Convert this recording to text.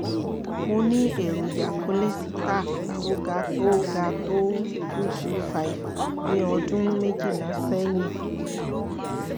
mo ní èròjà kólésítà tó ga tó ga tó two hundred twenty five ní ọdún méjìlá sẹ́yìn